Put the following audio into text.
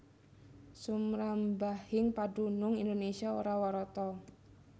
Sumrambahing padunung Indonésia ora warata